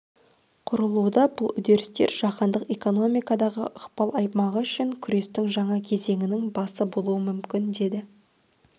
құрылуда бұл үдерістер жаһандық экономикадағы ықпал аймағы үшін күрестің жаңа кезеңінің басы болуы мүмкін деді